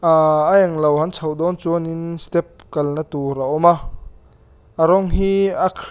ahhh a englo han chhoh dâwn chuanin step kalna tûr a awm a a rawng hi a khrip --